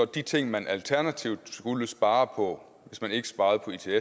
de ting man alternativt skulle spare på hvis man ikke sparede på its at